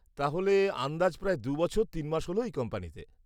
তাহলে আন্দাজ প্রায় দু'বছর তিন মাস হল এই কোম্পানিতে?